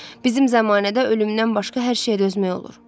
Bizim zəmanədə ölümdən başqa hər şeyə dözmək olur.